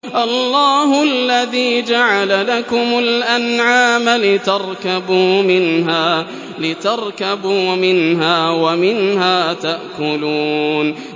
اللَّهُ الَّذِي جَعَلَ لَكُمُ الْأَنْعَامَ لِتَرْكَبُوا مِنْهَا وَمِنْهَا تَأْكُلُونَ